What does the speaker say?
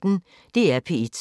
DR P1